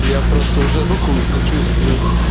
я просто уже руку не чувствую